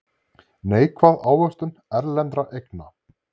Neikvæð ávöxtun erlendra eigna